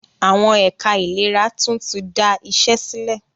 Àwọn ẹ̀ka ìlera tún tí da iṣé sílẹ̀.